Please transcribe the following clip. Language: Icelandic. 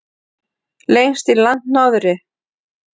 Lengst í landnorðri.